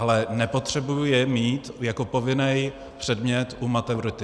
Ale nepotřebuji je mít jako povinný předmět u maturity.